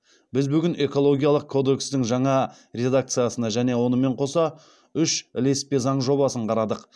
біз бүгін экологиялық кодекстің жаңа редакциясына және онымен қоса үш ілеспе заң жобасын қарадық